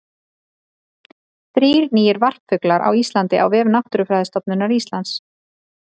Þrír nýir varpfuglar á Íslandi á vef Náttúrufræðistofnunar Íslands.